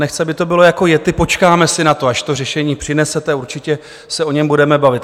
Nechci, aby to bylo jako yetti, počkáme si na to, až to řešení přinesete, určitě se o něm budeme bavit.